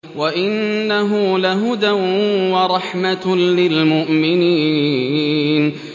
وَإِنَّهُ لَهُدًى وَرَحْمَةٌ لِّلْمُؤْمِنِينَ